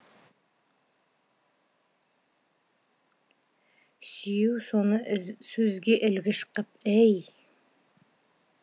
сүйеу соны сөзге ілгіш қып әй